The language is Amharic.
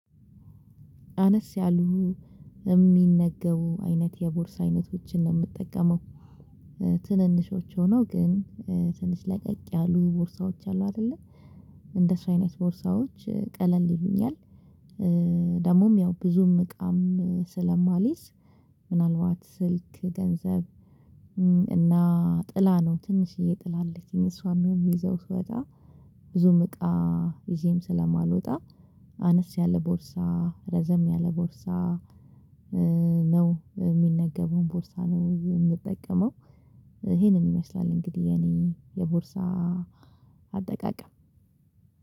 አነስ ያሉ ሚነገቡ አይነት የቦርስ አይነቶችን ነው ምጠቀመው። ትንንሾች ሆኖ ግን ትንሽ ለቀቅ ያሉ ቦርሳዎች አሉ አይደለ እንደሱ አይነት ቦርሳዎች ቀለል ይሉኛል። ደግሞም ያው ብዙም እቃም ስለማልይዝ ምናልባት ስልክ ገንዘብ እና ጥላ ነው ትንሽዬ ጥላ አለችኝ እሷን ሚይዘው ስወጣ። ብዙም እቃ ይዤም ስለማልወጣ አነስ ያለ ቦርሳ ረዘም ያለ ቦርሳ ነው ሚነገበውን ቦርሳ ነው የምጠቀመው። ይሄንን ይመስላል እንግዲህ የኔ የቦርሳ አጠቃቀም።